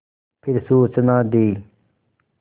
फिर सूचना दी